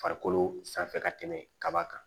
Farikolo sanfɛ ka tɛmɛ kaba kan